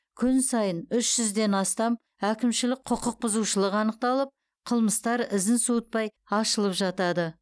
күн сайын үш жүзден астам әкімшілік құқықбұзушылық анықталып қылмыстар ізін суытпай ашылып жатады